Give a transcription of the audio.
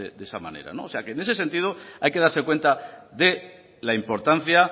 de esa manera o sea que en ese sentido hay que darse cuenta de la importancia